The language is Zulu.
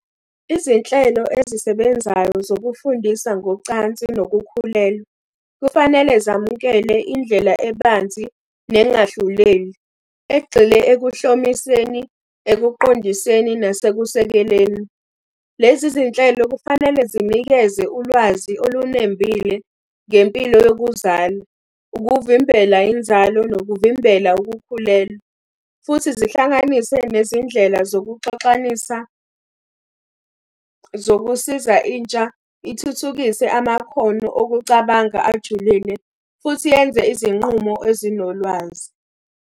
Izinhlelo ezisebenzayo zokufundisa ngocansi nokukhulelwa, kufanele zamukele indlela ebanzi nengahluleli. Egxile ekuhlomiseni, ekuqondiseni, nasekusekeleni. Lezi zinhlelo kufanele zinikeze ulwazi olunembile ngempilo yokuzala, ukuvimbela inzalo, nokuvimbela ukukhulelwa. Futhi zihlanganise nezindlela zokuxoxanisa, zokusiza intsha ithuthukise amakhono okucabanga ajulile, futhi yenze izinqumo ezinolwazi.